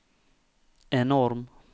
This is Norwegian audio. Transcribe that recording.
enorm